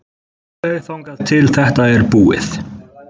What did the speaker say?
Alveg þangað til að þetta er búið.